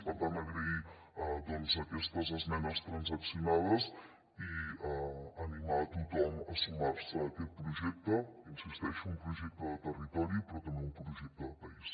per tant agrair aquestes esmenes transaccionades i animar tothom a sumar se a aquest projecte hi insisteixo un projecte de territori però també un projecte de país